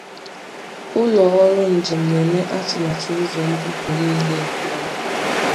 Ụlọ ọrụ njem na-eme atụmatụ ụzọ mbupu niile nke ọma.